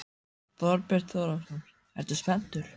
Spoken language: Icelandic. Þorbjörn Þórðarson: Ertu spenntur?